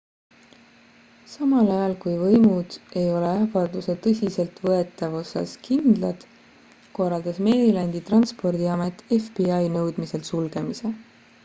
samal ajal kui võimud ei ole ähvarduse tõsiseltvõetavuses kindlad korraldas marylandi transpordiamet fbi nõudmisel sulgemise